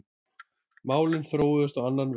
Málin þróuðust á annan veg.